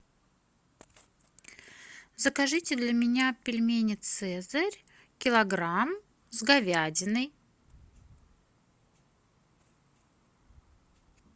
закажите для меня пельмени цезарь килограмм с говядиной